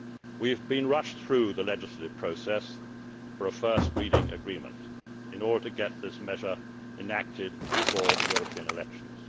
We have been rushed through the legislative process for a first reading agreement in order to get this measure enacted before the European elections.